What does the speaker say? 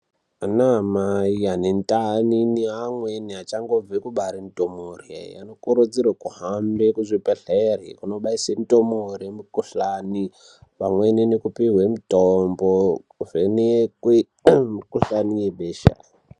Anamai ane ndani neamweni achangobve kubare ndumure anokurudzirwe kuhambe kuzvibhedhlere kunobaise ndumure mikuhlani pamweni nekupihwe mitombo kuvhenekwe mikuhlani yebesha.